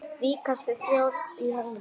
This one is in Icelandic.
Ríkasta þjóð í heimi.